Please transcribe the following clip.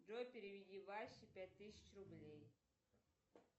джой переведи васе пять тысяч рублей